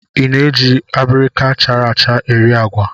I na-eji abirika chara acha eri agwa?